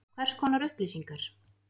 Hvers konar upplýsingar?